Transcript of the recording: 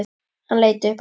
Hann leit upp aftur.